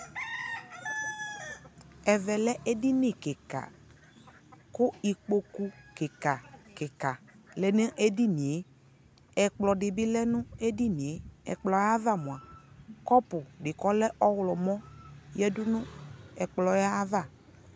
ɛvɛ lɛ ɛdini kikaa kʋ ikpɔkʋ kikaa kikaa lɛnʋ ɛdiniɛ, ɛkplɔ dibi lɛnʋ ɛdiniɛ, ɛkplɔɛ aɣa mʋa kɔpʋ di kʋ ɔlɛ ɔwlɔmʋ yɛdʋ nʋ ɛkplɔɛ aɣa